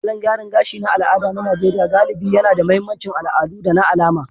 Salon gyaran gashi na al'ada na Najeriya galibi yAna da mahimmancin al'adu da na alama